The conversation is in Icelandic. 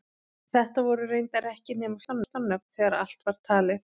Þetta voru reyndar ekki nema fjórtán nöfn þegar allt var talið.